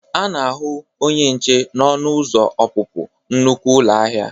A na-ahụ onye nche n'ọnụ ụzọ ọpụpụ nnukwe ụlọ ahịa.